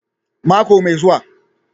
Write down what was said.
Mako mai zuwa